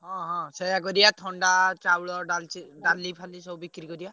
ହଁ ହଁ ସେଇଆ କରିଆ ଥଣ୍ଡା, ଚାଉଳ, ଡାଳଚିନ, ଡାଲି ଫାଲି ସବୁ ବିକ୍ରି କରିଆ।